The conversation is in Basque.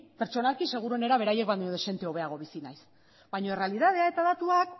pertsonalean seguruenera beraiek baino dezente hobeago bizi naiz baina errealitatea eta datuak